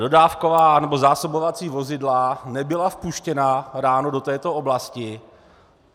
Dodávková nebo zásobovací vozidla nebyla vpuštěna ráno do této oblasti.